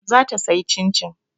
Za ta sayi Cin-cin.